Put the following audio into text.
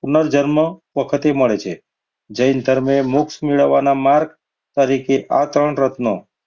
પુનર જન્મ વખતે મળે છે. જૈન ધર્મ એ મોક્ષ મેળવવાના માર્ગ તરીકે આ ત્રણ રત્નો,